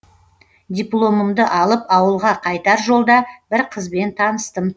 дипломымды алып ауылға қайтар жолда бір қызбен таныстым